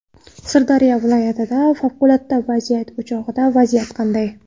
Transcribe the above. Sirdaryo viloyatidagi favqulodda vaziyat o‘chog‘ida vaziyat qanday?